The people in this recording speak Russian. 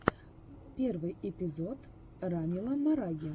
первый эпизод ранила мараги